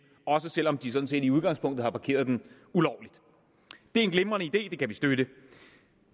også selv om de sådan set i udgangspunktet har parkeret den ulovligt det er en glimrende idé og det kan vi støtte